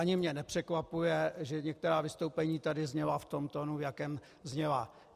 Ani mě nepřekvapuje, že některá vystoupení tady zněla v tom tónu, v jakém zněla.